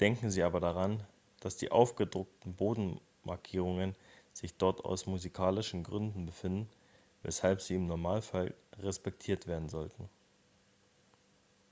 denken sie aber daran dass die aufgedruckten bogenmarkierungen sich dort aus musikalischen gründen befinden weshalb sie im normalfall respektiert werden sollten